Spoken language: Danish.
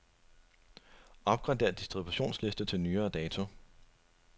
Opgrader distributionsliste til nyere dato.